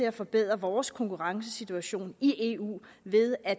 at forbedre vores konkurrencesituation i eu ved at